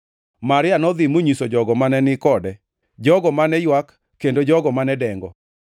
Maria nodhi monyiso jogo mane ni kode, jogo mane ywak kendo jogo mane dengo.